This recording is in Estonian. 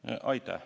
Aitäh!